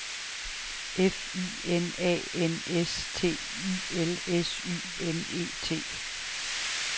F I N A N S T I L S Y N E T